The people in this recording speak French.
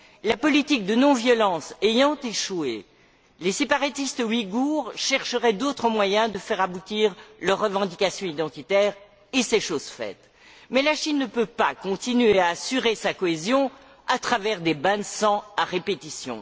La politique de non violence ayant échoué, les séparatistes ouïghours chercheraient d'autres moyens de faire aboutir leurs revendications identitaires, et c'est chose faite. Mais la Chine ne peut pas continuer à assurer sa cohésion à travers des bains de sang à répétition.